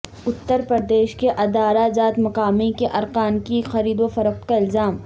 اتر پردیش کے ادارہ جات مقامی کے ارکان کی خرید و فروخت کا الزام